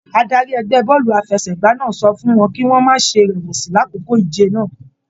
Adarí ẹgbẹ bọọlu àfẹ́sẹ̀gbà náà sọ fún wọn kì wọn má ṣe rẹwẹsi l'akoko ìje náà.